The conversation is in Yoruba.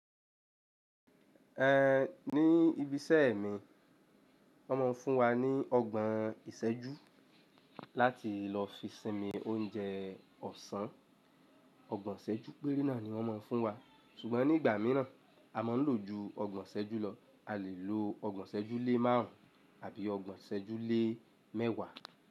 Ní ibi iṣẹ́ mi, wọ́n máa ń fún wa ní ọgbọ́n ìsẹ́jú láti lọ fi sinmi oúnjẹ ọ̀sán. Ọgbọ́n ìsẹ́jú péré náà ni wọ́n máa ń fún wa. Sugbon nígbà míràn a máa ń lò ju ọgbọ́n ìsẹ́jú lọ. A lè lo ọgbọ́n ìsẹ́jú lé márùn àbí ọgbọ́n ìsẹ́jú lé mẹ́wàá.